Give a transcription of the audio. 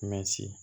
Mɛti